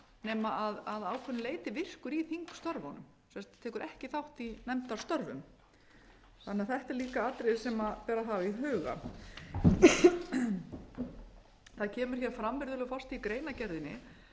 nema að ákveðnu leyti virkur í þingstörfunum tekur ekki þátt í nefndastörfum þannig að þetta er líka atriði sem ber að hafa í huga það kemur hér fram virðulegur forseti í greinargerðinni